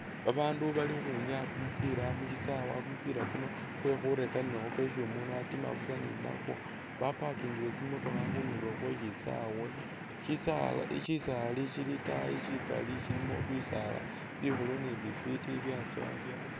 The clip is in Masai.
Babaandu bali khukhwinyaya kumupila mushisawa, kumupila kuno kwekhurekanilakho kwesi umundu atima busa ni nakwo baparkingile tsimotokha khundulo khweshisawe shisale shisaali shili itaayi shikali shilimo bisaala bikhulu ni bifiti byatsowa bya